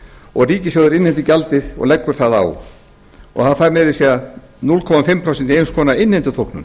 og ríkissjóður innheimtir gjaldið og leggur það á það fær meira að segja hálft prósent í eins konar innheimtuþóknun